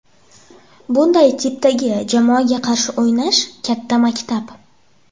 Bunday tipdagi jamoaga qarshi o‘ynash katta maktab.